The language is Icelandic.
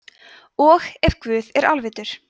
og ef guð er alvitur